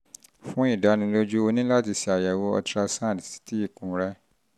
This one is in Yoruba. fún ìdánilójú o ní láti ṣe àyẹ̀wò ultrasound ti ikùn rẹ